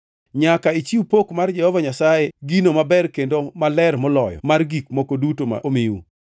Nyaka ichiw pok mar Jehova Nyasaye gino maber kendo maler moloyo mar gik moko duto ma omiu.’